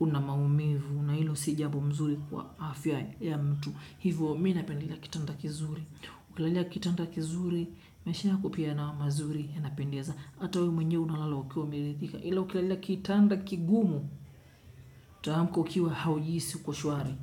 una maumivu, na hilo si jambo mzuri kwa afya ya mtu, hivyo mi napendila kitanda kizuri. Ukilalia kitanda kizuri maisha yako pia na mazuri yanapendeza. Hata wewe mwenyewe unalala ukiwa umerithika ila ukilalia kitanda kigumu utaamka ukiwa haujisi uko shwari.